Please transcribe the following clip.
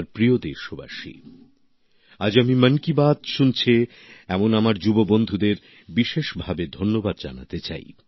আমার প্রিয় দেশবাসী আজ আমি মন কি বাত শুনছে এ ধরণের যুব বন্ধুদের বিশেষভাবে ধন্যবাদ জানাতে চাই